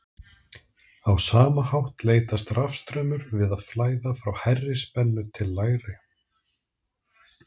á sama hátt leitast rafstraumur við að flæða frá hærri spennu til lægri